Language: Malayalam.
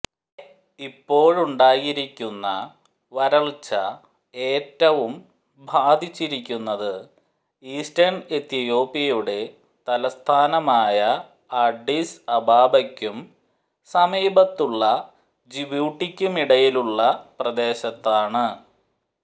ഇപ്പോഴുണ്ടായിരിക്കുന്ന വരൾച്ച ഏറ്റവും ബാധിച്ചിരിക്കുന്നത് ഈസ്റ്റേൺ എത്യോപ്യയുടെ തലസ്ഥാനമായ അഡിസ് അബാബയ്ക്കും സമീപത്തുള്ള ജിബൂട്ടിക്കുമിടയിലുള്ള പ്രദേശത്താണ്